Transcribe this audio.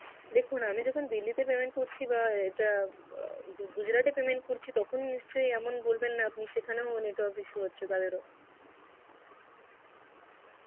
দেখুন আমি যখন Delhi তে payment করছি বা যা Gujarat এ payment করছি তখন নিশ্চই এমন বলবেন না আপনি সেখানেও network issue হচ্ছে তাদের ও.